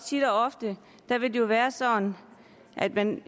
tit og ofte vil være sådan at man